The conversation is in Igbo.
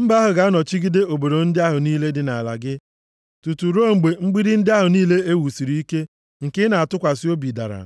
Mba ahụ ga-anọchigide obodo ndị ahụ niile dị nʼala gị tutu ruo mgbe mgbidi ndị ahụ niile e wusiri ike, nke ị na-atụkwasị obi dara.